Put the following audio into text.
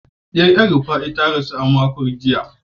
Diyar El-Rufai ta rasu a makon jiya.